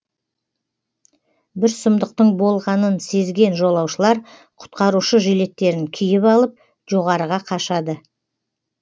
бір сұмдықтың болғанын сезген жолаушылар құтқарушы жилеттерін киіп алып жоғарыға қашады